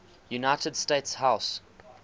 united states house